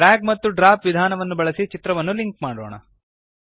drag ಮತ್ತು drop ವಿಧಾನವನ್ನು ಬಳಸಿ ಚಿತ್ರವನ್ನು ಲಿಂಕ್ ಮಾಡೋಣ